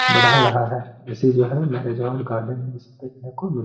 बढ़ा रहा है जैसे जो है मेरिज हॉल गार्डन --